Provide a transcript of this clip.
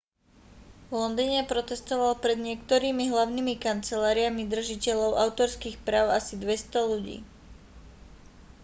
v londýne protestovalo pred niektorými hlavnými kanceláriami držiteľov autorských práv asi 200 ľudí